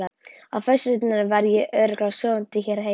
Á föstudaginn var ég örugglega sofandi hérna heima.